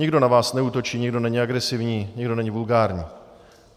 Nikdo na vás neútočí, nikdo není agresivní, nikdo není vulgární.